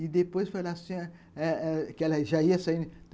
E depois falou assim eh eh, que ela já ia saindo.